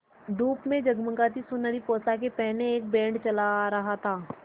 धूप में जगमगाती सुनहरी पोशाकें पहने एक बैंड चला आ रहा था